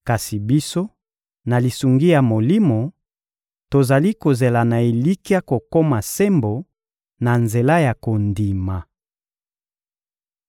Kasi biso, na lisungi ya Molimo, tozali kozela na elikya kokoma sembo na nzela ya kondima.